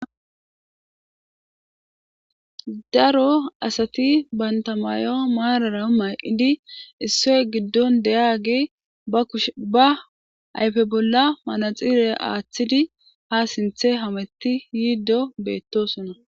Daro asati bantta mayo maarara mayidi issoy giddon deyiyaagey ba ayfe bolla manaxxire aathidi sinthe hametti diiddo beettoosona.